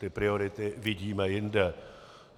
Ty priority vidíme jinde.